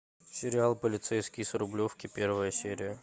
сериал полицейский с рублевки первая серия